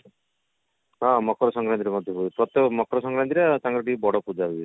ହଁ ମକର ସଂକ୍ରାନ୍ତି ରେ ମଧ୍ୟ ହୁଏ ପ୍ରତ୍ୟକ ମକର ସଂକ୍ରାନ୍ତି ରେ ତାଙ୍କର ଟିକେ ବଡ ପୂଜା ହୁଏ